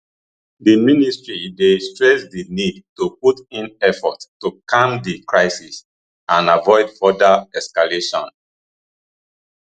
di ministry dey stress di need to put in effort to calm di crisis and avoid further escalation